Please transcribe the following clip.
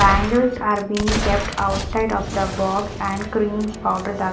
Bangles are been kept outside of the box and cream's powder --